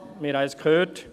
wir haben es gehört.